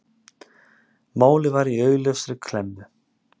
Málið var í augljósri klemmu.